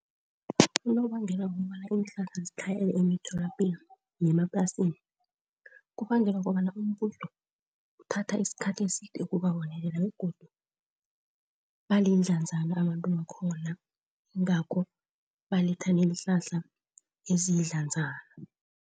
Unobangela wokobana iinhlahla zitlhayele emitholapilo yemaplasini kubangelwa kobana umbuso uthatha isikhathi eside ukubabonelela begodu balindlanzana abantu baakhona, ingakho baletha neenhlahla eziyidlanzana.